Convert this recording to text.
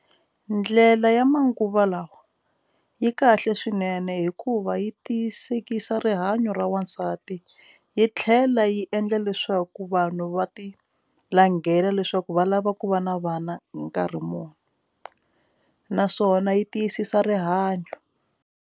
Ndlela ya manguva lawa yi kahle swinene hikuva yi tiyisekisa rihanyo ra wansati yi tlhela yi endla leswaku vanhu va ti langela leswaku va lava ku va na vana hi nkarhi muni naswona yi tiyisisa rihanyo.